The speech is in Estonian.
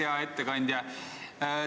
Hea ettekandja!